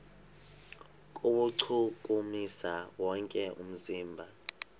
kuwuchukumisa wonke umzimba